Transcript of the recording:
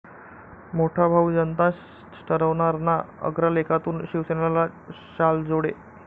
मोठा भाऊ जनताच ठरवणार ना?' अग्रलेखातून शिवसेनेला शालजोडे